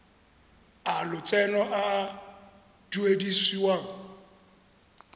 a lotseno a a duedisiwang